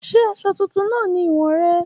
Ṣe aṣọ tuntun naa ni iwọn rẹ?